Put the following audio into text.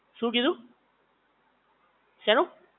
શું કીધું? શેનું?